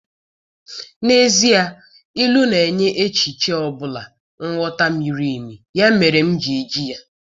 N'ezie, Ilu na-enye echiche ọ bụla nghọta miri emi, ya mere m ji eji ya.